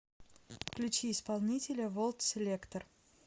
включи исполнителя волт селектор